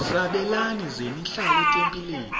sabelani zenihlal etempileni